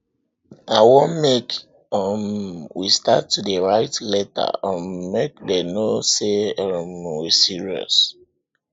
i wan make um we start to dey write letter um make dem no say um we serious